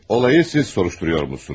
Olayı siz soruşturuyormuşsunuz.